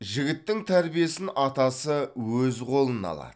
жігіттің тәрбиесін атасы өз қолына алады